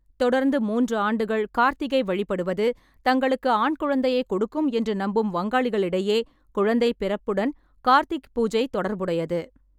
தொடர்ந்து மூன்று ஆண்டுகள் கார்த்திக்கை வழிபடுவது தங்களுக்கு ஆண் குழந்தையைக் கொடுக்கும் என்று நம்பும் வங்காளிகளிடையே குழந்தை பிறப்புடன் கார்த்திக் பூஜை தொடர்புடையது.